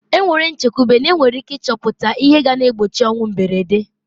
E nwere nchekwube n'enwere ike ịchọpụta ihe ga na-egbochi ọnwụ mberede.